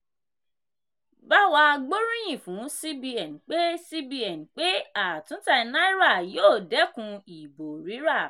bawa gbóríyìn fún cbn pé cbn pé àtúntà náírà yóò dẹ́kun ìbò rírà.